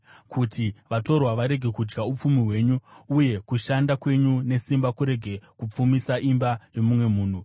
kuti vatorwa varege kudya upfumi hwenyu, uye kushanda kwenyu nesimba kurege kupfumisa imba yomumwe munhu.